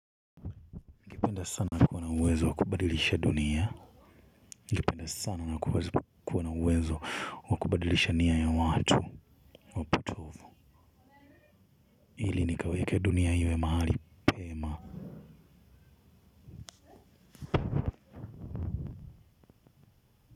Ningependa sana kuwa na uwezo wa kubadilisha dunia ningependa sana na kuwa na uwezo wa kubadilisha nia ya watu wapotovu ili nikaweke dunia iwe mahali pema.